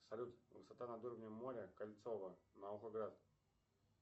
салют высота над уровнем моря кольцово наукоград